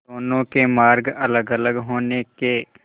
दोनों के मार्ग अलगअलग होने के